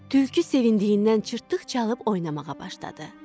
Tülkü sevindiyindən çırtdıq çalıb oynamağa başladı.